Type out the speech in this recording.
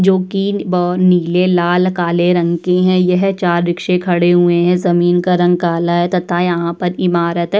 जो कि नी-ब् नीले लाल काले रंग की है। यह चार रिक्शे खड़े हुएं हैं। ज़मीन का रंग काला है तथा यहाँ पर इमारत है।